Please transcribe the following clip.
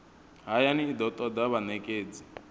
hayani i do toda vhanekedzi